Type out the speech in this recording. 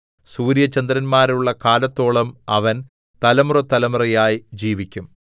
സൂര്യചന്ദ്രന്മാരുള്ള കാലത്തോളം അവന്‍ തലമുറതലമുറയായി ജീവിക്കും